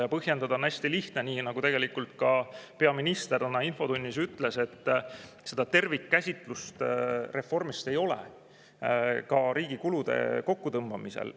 Ja põhjendada on hästi lihtne, nii nagu ka peaminister täna infotunnis ütles, et seda tervikkäsitlust reformist ei ole, ka riigi kulude kokkutõmbamisel.